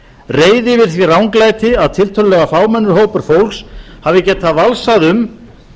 reiði yfir því ranglæti að tiltölulega fámennur hópur fólks hafi getað valsað um